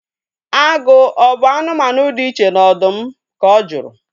Agụ ọ bụ anụmanụ dị iche na ọdụm? Ka ọ juru